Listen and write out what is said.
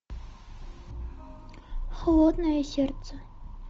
холодное сердце